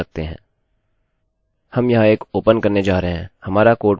यदि यह सही नहीं है हम अन्य मान लेंगे